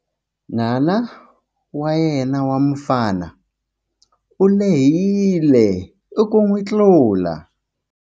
N'wana wa yena wa mufana u lehile ku n'wi tlula.